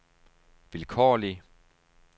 vilkårlig